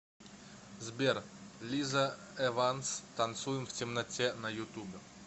сбер лиза эванс танцуем в темноте на ютубе